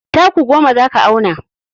Taku goma za ka auna.